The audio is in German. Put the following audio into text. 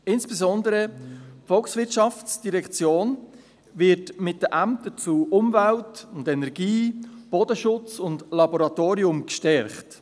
Insbesondere die VOL wird mit den Ämtern in den Bereichen Umwelt und Energie, Bodenschutz und Laboratorien gestärkt.